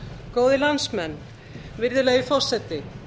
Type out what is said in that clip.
góðir landsmenn virðulegi forseti